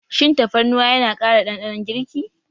Shin tafarnuwa yana ƙara ɗanɗanon girki?